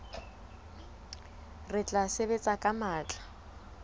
re tla sebetsa ka matla